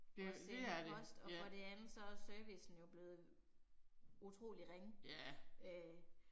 Og sende post og for det andet så er servicen jo blevet utrolig ringe øh